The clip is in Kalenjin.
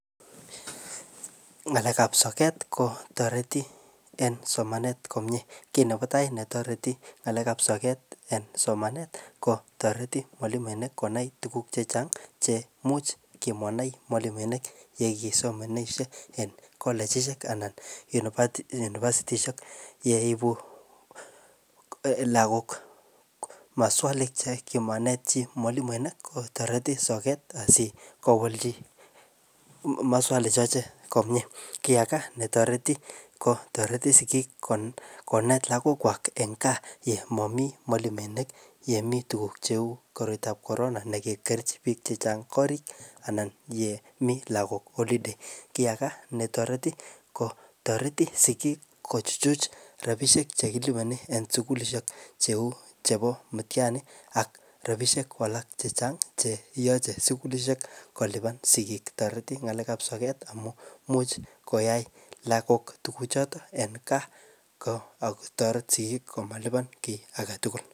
ngalek ab soket kotoreti en somanet komie kit nepo tai netoreti ngalek ab soket en somanet kotoreti mwalimuinik konai tuguk chechang cheimuch kimanai mwalimuinik yegisomonishe en kollechishek anan unipasitishek yeipuu lagook masualichegimainet chi mwalimuenik kotoreti soket asikowolchi masuali shochek komie kii age netoreti kotoreti sigik konet lagokwak en kaa yemomi mwalimuinik yemi tuguk cheu koroitab korona nekikerchi biik chechang korik anan yemi lagok olidei kii age netoreti ko toreti sigik kochuchuch rapishek chekiliponi en sugulishek cheu chepo mutiani ak rapishek alak chechang cheyoche sugulishek kolipan sigik toreti ngalek ab soket amun imuch koyai lagok en kaa ako toret sigik komalipan kii agetugul